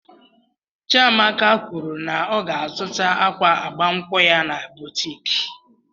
Chiamaka kwụrụ na ọ ga azụta akwa agbamnkwu ya na boutiki.